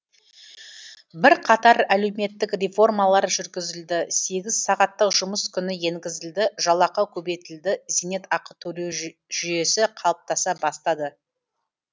бірқатар әлеуметтік реформалар жүргізілді сегіз сағаттық жұмыс күні енгізілді жалақы көбейтілді зейнет ақы төлеу жүйесі қалыптаса бастады